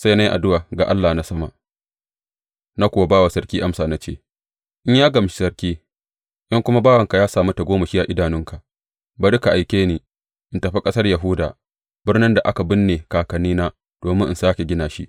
Sai na yi addu’a ga Allah na sama, na kuwa ba wa sarki amsa, na ce, In ya gamshi sarki, in kuma bawanka ya sami tagomashi a idonka, bari ka aike ni in tafi ƙasar Yahuda, birnin da aka binne kakannina, domin in sāke gina shi.